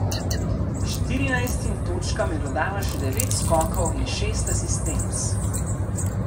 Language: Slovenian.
Štirinajstim točkam je dodala še devet skokov in šest asistenc.